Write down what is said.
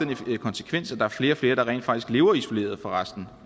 den konsekvens at der er flere og flere der rent faktisk lever isoleret fra resten